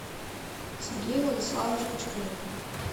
сергей владиславович бочкарев